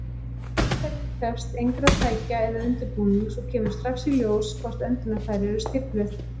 Aðferðin krefst engra tækja eða undirbúnings, og kemur strax í ljós hvort öndunarfæri eru stífluð.